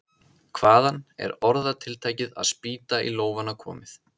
Hvaðan er orðatiltækið að spýta í lófana komið?